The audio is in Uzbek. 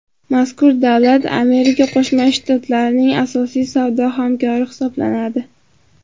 mazkur davlat Amerika Qo‘shma Shtatlarining asosiy savdo hamkori hisoblanadi.